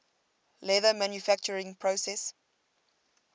leather manufacturing process